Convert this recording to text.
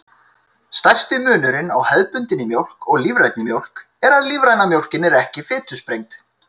Stærsti munurinn á hefðbundinni mjólk og lífrænni mjólk er að lífræna mjólkin er ekki fitusprengd.